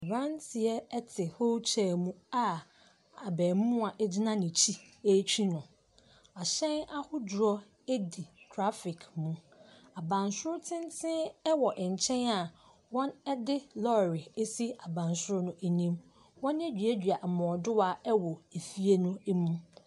Aberanteɛ te wheel chair a abaamua gyina n'akyi retwi no. ahyɛn ahodoɔ di traffic mu. Abansoro tenten wɔ nkyɛn a wɔde lɔre asi abansoro no anim. Wɔaduadua mmɔɔdowa wɔ efie no mu.